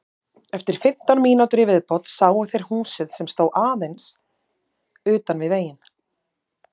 Eftir fimmtán mínútur í viðbót sáu þeir húsið sem stóð aðeins utan við veginn.